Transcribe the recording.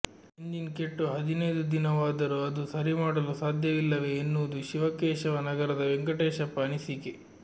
engine ಕೆಟ್ಟು ಹದಿನೈದು ದಿನ ವಾದರೂ ಅದು ಸರಿಮಾಡಲು ಸಾಧ್ಯವಿಲ್ಲವೆ ಎನ್ನುವುದು ಶಿವಕೇಶವ ನಗರದ ವೆಂಕಟೇಶಪ್ಪ ಅನಿಸಿಕೆ